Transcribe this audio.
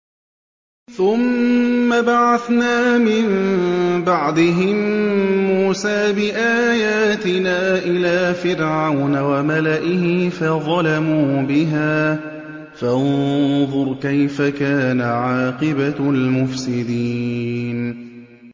ثُمَّ بَعَثْنَا مِن بَعْدِهِم مُّوسَىٰ بِآيَاتِنَا إِلَىٰ فِرْعَوْنَ وَمَلَئِهِ فَظَلَمُوا بِهَا ۖ فَانظُرْ كَيْفَ كَانَ عَاقِبَةُ الْمُفْسِدِينَ